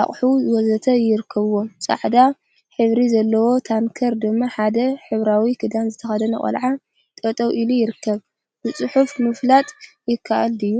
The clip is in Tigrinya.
አቁሑ ወዘተ ይርከቡዎም፡፡ ፃዕዳ ሕብሪ ዘለዎ ታንከር ድማ ሓደ ሕብራዊ ክዳን ዝተከደነ ቆልዓ ጠጠው ኢሉ ይርከብ፡፡ ብፅሑፍ ምፍላጥ ይከአል ድዩ?